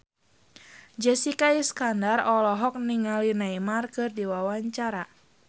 Jessica Iskandar olohok ningali Neymar keur diwawancara